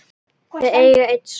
Þau eiga einn son.